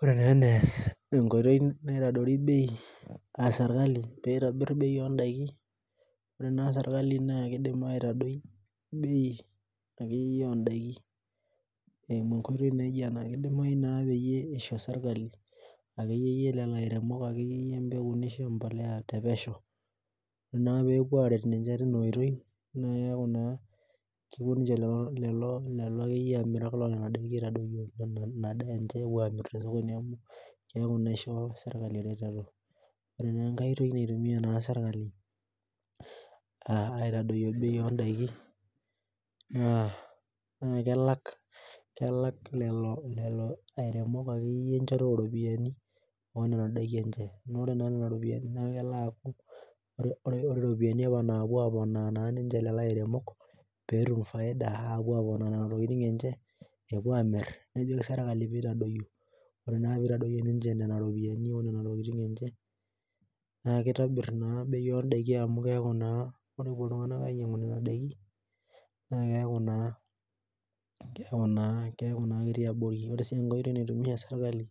Ore naa enaas enkoitoi naitobiri bei esirkali peitabir bei ontaiki ore naa serkali naa keidim aitadoi bei akeyie oondaki eeimu enkoitoi naijio ena keidimayu naa peyie isho serkali akeyie lelo airemok neisho empolea tepesho ore naa pepuo aaret ninche tinaoitoi neeku naa kepuo ninche lelo amirak neeku naa ishoo serkali ereteto ore naa enkai oitoi naitumia serkali aaitadoyio bei oondaiki naa kelak lelo airemok akeyie iropiyiani ore nena ropiyiani naa ore iropiyiani apa naapuo aaponaa ninche lelo airemok peetum faida epuo amir nejoki serkali peeitadoyio ore naa peeitadoyio nena ropiyiani oondaiki enche naa keitobir amu keeku naa kepuo lelo tung'anak ainyiang'u nena daiki naa keeku naa ketii abori ore sii enkae oitoi naitumia serkali